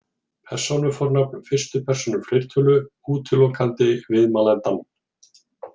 Persónufornafn fyrstu persónu fleirtölu útilokandi viðmælandann.